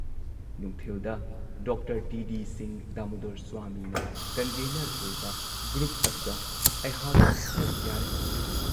ꯅꯨꯡꯊꯤꯜꯗ doctor T D Singh Damodar ꯁ꯭ꯋꯥꯃꯤꯅ convenor ꯑꯣꯏꯕ ꯒ꯭ꯔꯨꯞ ꯑꯗꯨꯗ ꯑꯩꯍꯥꯛ ꯁꯔꯨꯛ ꯌꯥꯔꯦ꯫